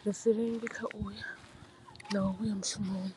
ndi si lenge kha u ya na u vhuya mushumoni.